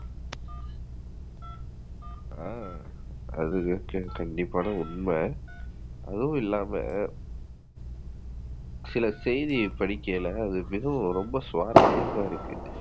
ஆஹ் அது வந்து கண்டிப்பான உண்மை. அதும் இல்லாம சில செய்தி படிக்கையில அது மிகவும் ரொம்ப சுவாரசியமா இருக்கு.